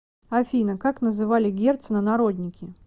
афина как называли герцена народники